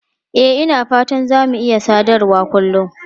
E, Ina fata za mu iya sadarwa kullun.